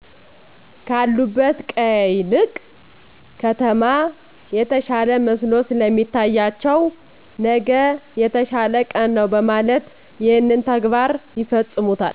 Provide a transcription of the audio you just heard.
ካሉበት ቀየ ይልቅ ከተማ የተሻለ መስሎ ስለሚታያቸው ነገ የተሻለ ቀን ነዉ በማለት ይህን ተግባር ይፈጽሙታል።